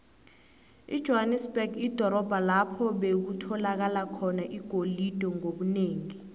ijohanesberg lidorobho lapho bekutholakala khona igolide ngobunengi